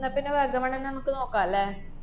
ന്നാപ്പിന്നെ വാഗമണ്ണന്നെ നമ്മക്ക് നോക്കാല്ലേ?